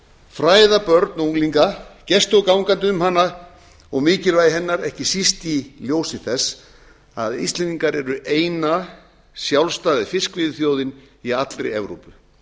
fræða börn og unglinga gesti og gangandi um hana og mikilvægi hennar ekki síst í ljósi þess að íslendingar eru eina sjálfstæða fiskveiðiþjóðin í allri evrópu